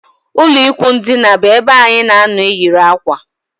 Ụlọ ikwụ ndina bu ebe anyị na anọ eyiri akwa